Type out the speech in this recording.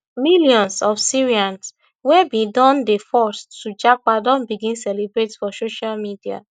millions of syrians wey bin don dey forced to japa don begin celebrate for social media